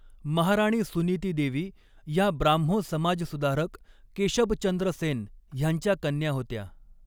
महाराणी सुनीती देवी ह्या ब्राह्मो समाजसुधारक केशबचंद्र सेन ह्यांच्या कन्या होत्या.